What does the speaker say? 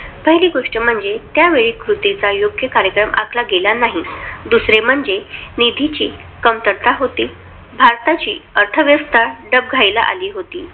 पहिली गोष्ट म्हणजे, त्यावेळी कृतीचा योग्य कार्यक्रम आखला गेला नाही. दुसरे म्हणजे, निधीची कमतरता होती, भारताची अर्थव्यवस्था डबघाईला आली होती.